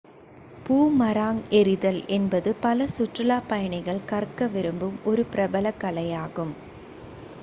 boomerang எறிதல் என்பது பல சுற்றுலாப் பயணிகள் கற்க விரும்பும் ஒரு பிரபலக் கலையாகும்